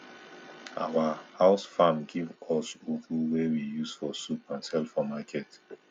our house farm give us us ugu wey we use for soup and sell for market